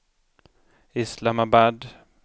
Islamabad